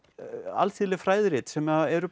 alþýðleg fræðirit sem eru